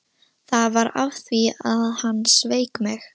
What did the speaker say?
Það var af því að hann sveik mig.